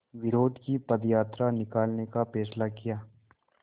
विरोध की पदयात्रा निकालने का फ़ैसला किया